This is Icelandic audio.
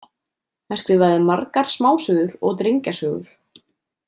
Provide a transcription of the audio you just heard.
Hann skrifaði margar smásögur og drengjasögur.